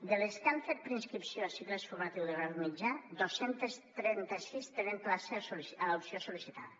de les que han fet preinscripció a cicles formatius de grau mitjà dos cents i trenta sis tenen plaça a l’opció sol·licitada